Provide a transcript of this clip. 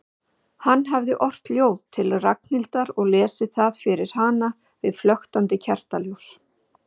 Hann hafði ort ljóð til Ragnhildar og lesið það fyrir hana við flöktandi kertaljós.